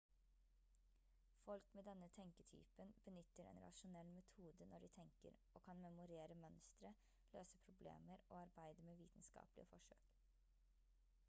folk med denne tenketypen benytter en rasjonell metode når de tenker og kan memorere mønstre løse problemer og arbeide med vitenskapelige forsøk